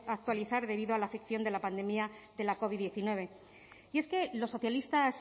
actualizar debido a la afección de la pandemia de la covid hemeretzi y es que los socialistas